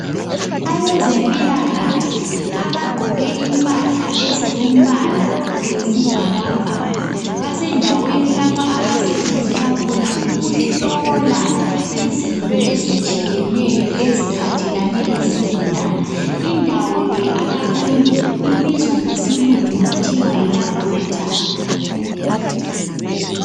Abezempilakahle abagqoke impahla ezilombala wesibhakabhaka basendaweni lapha abasebenzela khona ukuhlola izinto ezitshiyeneyo eziphathelane lezigulane. Indawo le abakiyo ibizwa ngesilungu kuthiwa yilaboratory.